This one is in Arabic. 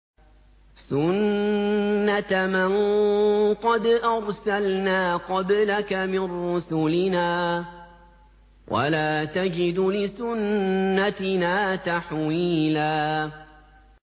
سُنَّةَ مَن قَدْ أَرْسَلْنَا قَبْلَكَ مِن رُّسُلِنَا ۖ وَلَا تَجِدُ لِسُنَّتِنَا تَحْوِيلًا